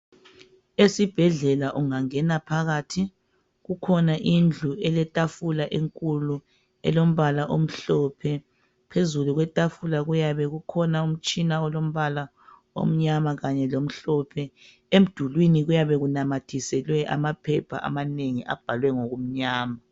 Esibhedlela ungangena phakathi, kukhona indlu eletafula enkulu elombala omhlophe. Phezulu kwetafula kuyabe kukhona umtshina olombala omnyama kanye lomhlophe, emdulini kuyabe kunamathiselwe amaphepha amanengi abhalwe ngokumnyama.